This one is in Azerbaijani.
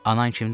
Anan kimdir?